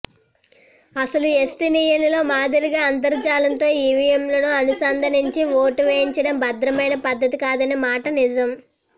అసలు ఎస్తోనియాలో మాదిరిగా అంతర్జాలంతో ఈవీఎంలను అనుసంధానించి ఓటు వేయించడం భద్రమైన పద్ధతి కాదనే మాట నిజం